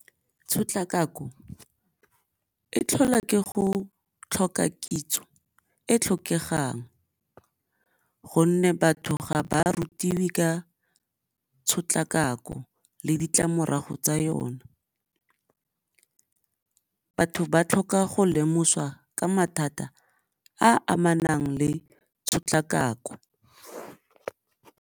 Tshotlakako e tlhola ke go tlhoka kitso e tlhokegang gonne batho ga ba rutiwe ka tshotlakako le ditlamorago tsa yone, batho ba tlhoka go lemoswa ka mathata a amanang le tshotlakako.